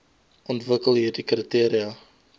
ontwikkel hieride kriteria